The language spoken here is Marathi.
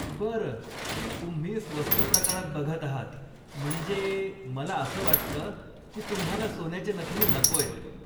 बर, तुम्ही स्वस्त प्रकारात बघत आहात म्हणजे मला असं वाटतं की तुम्हाला सोन्याच्या नथनी नकोयत.